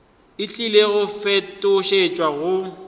e tlile go fetošetšwa go